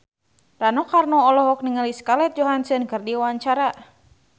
Rano Karno olohok ningali Scarlett Johansson keur diwawancara